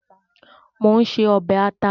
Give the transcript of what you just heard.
Mò ń se ọbẹ̀ àta.